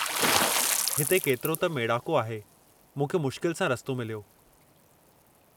हिते केतिरो त मेड़ाको आहे, मूंखे मुश्किल सां रस्तो मिलियो।